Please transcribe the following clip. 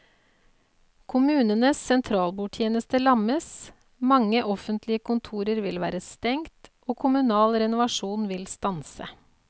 Kommunenes sentralbordtjeneste lammes, mange offentlige kontorer vil være stengt og kommunal renovasjon vil stanse.